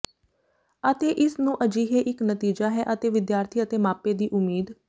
ਅਤੇ ਇਸ ਨੂੰ ਅਜਿਹੇ ਇੱਕ ਨਤੀਜਾ ਹੈ ਅਤੇ ਵਿਦਿਆਰਥੀ ਅਤੇ ਮਾਪੇ ਦੀ ਉਮੀਦ